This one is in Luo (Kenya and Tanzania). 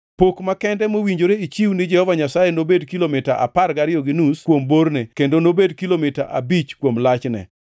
“Pok makende mowinjore ichiw ni Jehova Nyasaye nobed kilomita apar gariyo gi nus kuom borne kendo nobed kilomita abich kuom lachne.